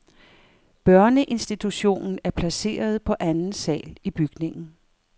Børneinstitutionen er placeret på anden sal i bygningen.